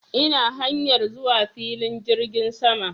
Ina hanyar zuwa filin jirgin sama